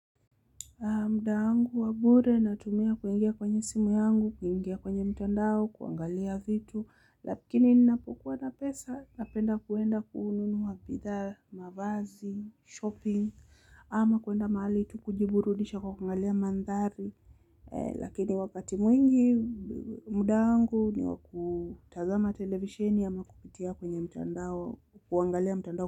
Muda wangu wa bure natumia kuingia kwenye simu yangu, kuingia kwenye mtandao, kuangalia vitu. Lakini ninapokuwa na pesa napenda kwenda kununua bidhaa, mavazi, shopping ama kwenda mahali tu kujiburudisha kwa kuangalia mandhari. Lakini wakati mwingi, muda wangu ni wakutazama television ama kupitia kwenye mtandao, kuangalia mtandao.